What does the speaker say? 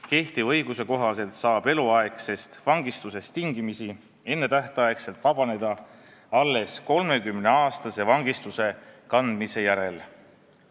Kehtiva õiguse kohaselt saab eluaegsest vangistusest tingimisi ennetähtaegselt vabaneda alles 30-aastase vangistuse kandmise järel.